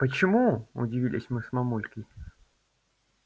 почему удивились мы с мамулькой